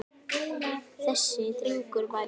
Þessi drengur var ég.